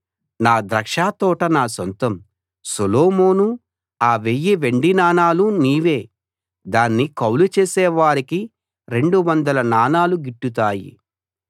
నా ద్రాక్షతోట నా సొంతం సొలొమోనూ ఆ వెయ్యి వెండి నాణాలు నీవే దాన్ని కౌలు చేసేవారికి రెండు వందల నాణాలు గిట్టుతాయి